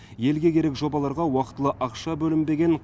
елге керек жобаларға уақытылы ақша бөлінбеген